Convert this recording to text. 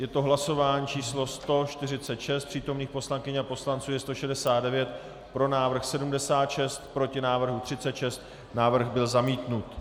Je to hlasování číslo 146, přítomných poslankyň a poslanců je 169, pro návrh 76, proti návrhu 36, návrh byl zamítnut.